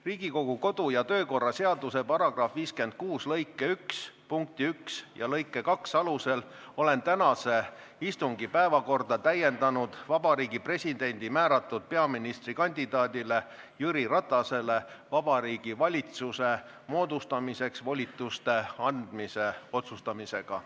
Riigikogu kodu- ja töökorra seaduse § 56 lõike 1 punkti 1 ja lõike 2 alusel olen tänase istungi päevakorda täiendanud Vabariigi Presidendi määratud peaministrikandidaadile Jüri Ratasele Vabariigi Valitsuse moodustamiseks volituste andmise otsustamisega.